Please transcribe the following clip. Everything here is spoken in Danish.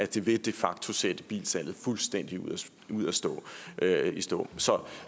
det vil de facto sætte bilsalget fuldstændig i stå